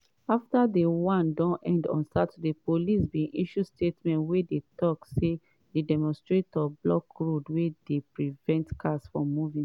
afta day one don end on saturday police bin issue statement wey dey tok say “di demonstrators block road wey dey prevent cars from moving.”